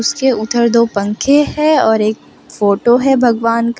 उसके उधर दो पंखे है और एक फोटो है भगवान का --